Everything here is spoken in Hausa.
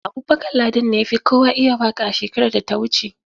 Abubakar Ladan ne ya fi kowa iya waƙa a shekarar da ta wuce.